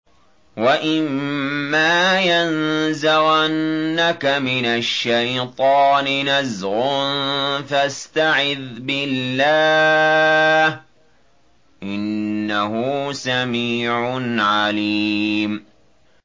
وَإِمَّا يَنزَغَنَّكَ مِنَ الشَّيْطَانِ نَزْغٌ فَاسْتَعِذْ بِاللَّهِ ۚ إِنَّهُ سَمِيعٌ عَلِيمٌ